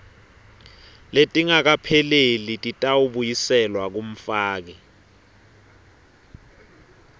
letingakapheleli titawubuyiselwa kumfaki